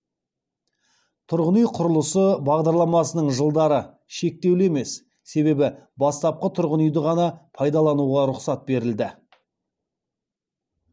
тұрғын үй құрылысы бағдарламасының жылдары шектеулі емес себебі бастапқы тұрғын үйді ғана пайдалануға рұқсат берілді